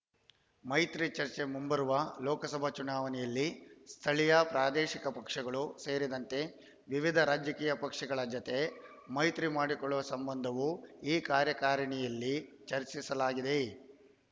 ಮೈತ್ರಿ ಚರ್ಚೆ ಮುಂಬರುವ ಲೋಕಸಭಾ ಚುನಾವಣೆಯಲ್ಲಿ ಸ್ಥಳೀಯ ಪ್ರಾದೇಶಿಕ ಪಕ್ಷಗಳು ಸೇರಿದಂತೆ ವಿವಿಧ ರಾಜಕೀಯ ಪಕ್ಷಗಳ ಜತೆ ಮೈತ್ರಿ ಮಾಡಿಕೊಳ್ಳುವ ಸಂಬಂಧವೂ ಈ ಕಾರ್ಯಕಾರಿಣಿಯಲ್ಲಿ ಚರ್ಚಿಸಲಾಗಿದೆ